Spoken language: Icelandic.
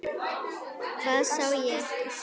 Hvað sagði ég ekki?